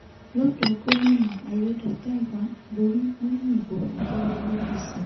lọ́dọ̀ gòmìnà aiyedọ̀taiwa borí nínú ìbò abẹ́lé apc